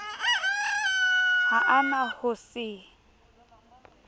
ha a na ho se